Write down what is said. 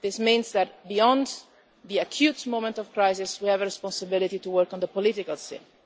This means that, beyond the acute moment of crisis, we have a responsibility to work on the political scene.